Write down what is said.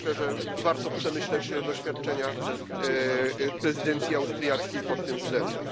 Myślę, że warto przemyśleć doświadczenia prezydencji austriackiej pod tym względem.